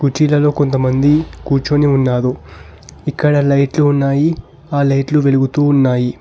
కుర్చీలలో కొంతమంది కూర్చొని ఉన్నారు ఇక్కడ లైట్లు ఉన్నాయి ఆ లైట్లు వెలుగుతూ ఉన్నాయి.